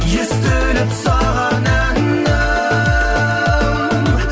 естіліп саған әнім